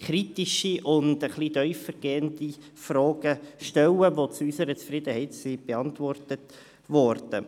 kritische und etwas tiefergehende Fragen stellen, welche zu unserer Zufriedenheit beantwortet wurden.